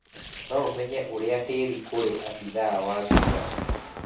Noũmenye ũria tĩri kũrĩ abithaa wa girigaca.